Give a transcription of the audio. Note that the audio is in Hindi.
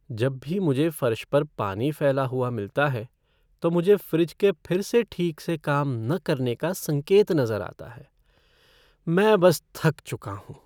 जब भी मुझे फ़र्श पर पानी फैला हुआ मिलता है, तो मुझे फ़्रिज के फिर से ठीक से काम न करने का संकेत नज़र आता है। मैं बस थक चुका हूँ।